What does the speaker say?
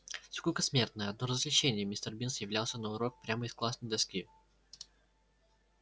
скука смертная одно развлечение мистер бинс являлся на урок прямо из классной доски